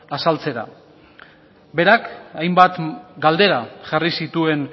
azaltzera berak hainbat galdera jarri zituen